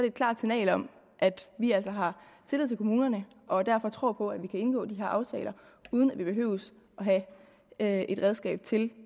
et klart signal om at vi altså har tillid til kommunerne og derfor tror på at vi kan indgå de her aftaler uden at vi behøver at have et redskab til